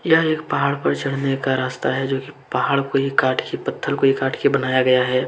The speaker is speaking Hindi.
यह एक पहाड़ पर चढ़ने का रास्ता है जो कि पहाड़ को ही काट के पत्थर को ही काट के बनाया गया है।